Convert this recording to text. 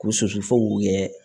K'u susu fo k'u kɛ